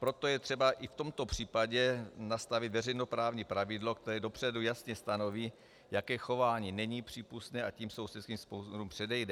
Proto je třeba i v tomto případě nastavit veřejnoprávní pravidlo, které dopředu jasně stanoví, jaké chování není přípustné, a tím sousedským sporům předejde.